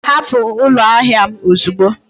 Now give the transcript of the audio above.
Hapụ ụlọ ahịa m ozugbo!